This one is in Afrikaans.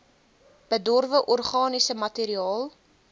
bedorwe organiese materiaal